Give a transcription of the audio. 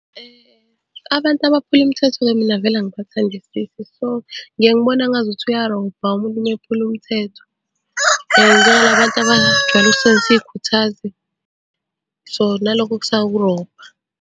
Abantu abaphula imthetho-ke mina vele angibathandisisi. So, ngiyeke ngibone ngazuthi uyarobha umuntu uma ephula umthetho. Njengala bantu abajwayele ukusebenzisa iy'khuthazi, so nalokhu kusawukurobha.